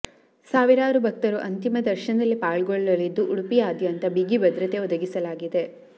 ಸಾವಿರಾರು ಭಕ್ತರು ಅಂತಿಮ ದರ್ಶನದಲ್ಲಿ ಪಾಲ್ಗೊಳ್ಳಲಿದ್ದು ಉಡುಪಿಯಾದ್ಯಂತ ಬಿಗಿ ಭದ್ರತೆ ಒದಗಿಸಲಾಗಿದೆ